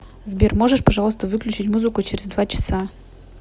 сбер можешь пожалуйста выключить музыку через два часа